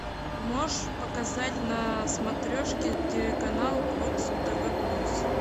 можешь показать на смотрешке телеканал бокс тв плюс